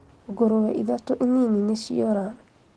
Ngũrwe ithatũ nini nĩciora